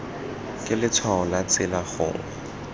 ke letshwao la tsela gongwe